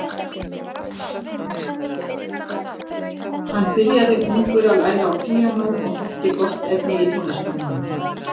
Hann byrjaði ungur að læra á píanó og þótti gott efni í tónlistarmann.